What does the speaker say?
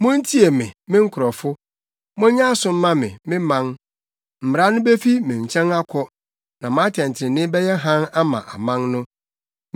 “Muntie me, me nkurɔfo; monyɛ aso mma me, me man: Mmara no befi me nkyɛn akɔ; na mʼatɛntrenee bɛyɛ hann ama aman no.